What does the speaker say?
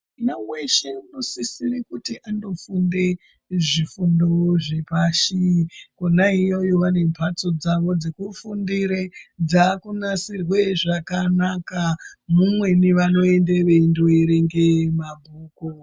Mwana weshe uno sisire kuti ando funde zvi fundo zve pashi kona iyoyo vane mbatso dzavo dzeku fundire dzaku nasirwe zvakanaka mumweni vano ende veindo erenge mabhuku.